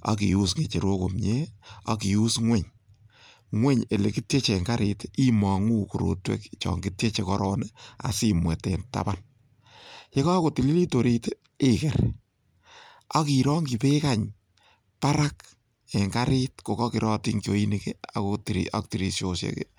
ak ius ng'echerok komie ak ius ng'weny. Ng'weny ele kityeche en karit imong'u korotwek chon kityeche korong asimwet en taban. Ye kagotililit orit iger ak irongi beek any barak en karit ko kokerotin kiooinik ak tirishosiek.